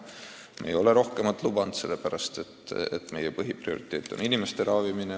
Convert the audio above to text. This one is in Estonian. Me ei ole rohkemat lubanud, sellepärast et meie põhiprioriteet on inimeste ravimine.